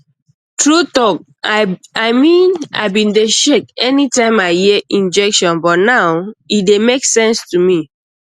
true talk i mean i bin dey shak anytime i hear injection but now e dey make sense to me